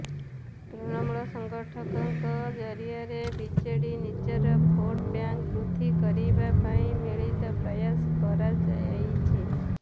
ତୃଣମୂଳ ସଂଗଠକଙ୍କ ଜରିଆରେ ବିଜେଡି ନିଜର ଭୋଟ୍ ବ୍ୟାଙ୍କ ବୃଦ୍ଧି କରିବା ପାଇଁ ମିଳିତ ପ୍ରୟାସ କରାଯାଇଛି